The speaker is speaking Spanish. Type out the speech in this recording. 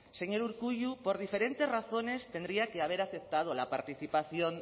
señor urkullu por diferentes razones tendría que haber aceptado la participación